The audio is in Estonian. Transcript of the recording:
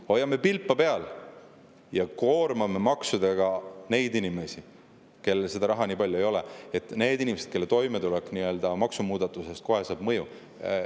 Me hoiame neid nagu pilpa peal, aga koormame maksudega neid inimesi, kellel raha nii palju ei ole, neid inimesi, kelle toimetulek saab maksumuudatusest kohe mõjutatud.